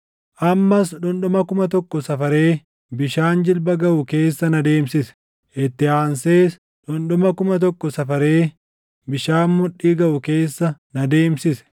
Ammas dhundhuma kuma tokko safaree bishaan jilba gaʼu keessa na deemsise; itti aansees dhundhuma kuma tokko safaree bishaan mudhii gaʼu keessa na deemsise.